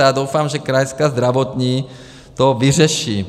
A já doufám, že Krajská zdravotní to vyřeší.